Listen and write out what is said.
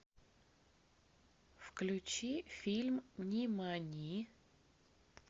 включи фильм нимани